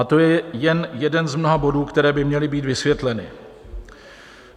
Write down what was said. A to je jen jeden z mnoha bodů, které by měly být vysvětleny.